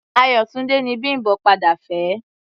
Ayọ̀túndé ni Bím̀bọ́ padà fẹ́.